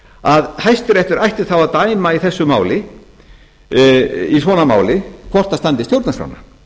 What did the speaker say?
að hæstiréttur ætti þá að dæma í svona máli hvort það standist stjórnarskrána